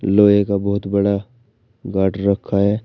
लोहे का बहुत बड़ा गाटर रखा है।